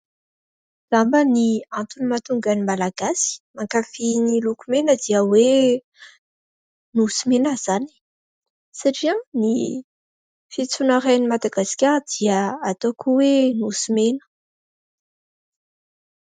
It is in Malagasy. Angamba ny antony mahatonga ny Malagasy mankafia ny loko mena dia hoe nosy mena izany satria ny fiantsoana iray an'i Madagasikara dia ataoko hoe nosy mena.